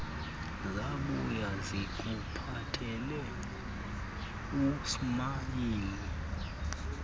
zabuya zikuphathele usmayili